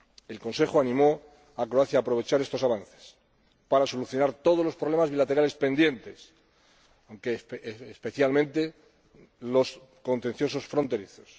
El Consejo animó a Croacia a aprovechar estos avances para solucionar todos los problemas bilaterales pendientes, especialmente los contenciosos fronterizos.